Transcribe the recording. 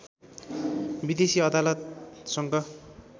विदेशी अदालतसँग